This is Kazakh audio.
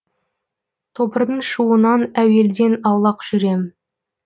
тобырдың шуынан әуелден аулақ жүрем